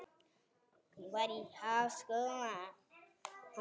Hún var í háskóla í